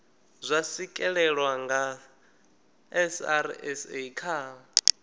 zwa swikelelwa nga srsa kha